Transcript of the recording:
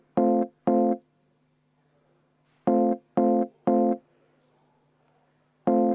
Kas ma eksin?